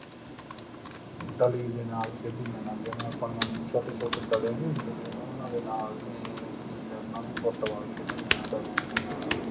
ਡਲੀ ਦੇ ਨਾਲ ਖੇਡੀ ਜਾਣਾ ਜਿਵੇਂ ਆਪਾਂ ਨੇ ਅੱਜ ਛੋਟੇ ਛੋਟੇ ਡਲੇ ਨਹੀਂ ਹੁੰਦੇ ਜਿਵੇਂ ਉਹਨਾ ਦੇ ਨਾਲ ਅਸੀਂ ਜਾਂ ਉਹਨਾ ਦੀ ਫੁੱਟਬਾਲ ਖੇਡੀ ਜਾਣਾ, ਡਲਿਆਂ ਦੇ ਨਾਲ,